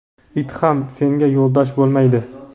it ham senga yo‘ldosh bo‘lmaydi!.